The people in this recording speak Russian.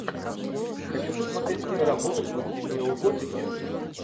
хочу посмотреть киноработу в духе неоготики